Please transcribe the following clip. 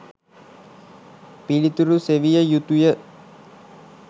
පිලිතුරු සෙවිය යුතුය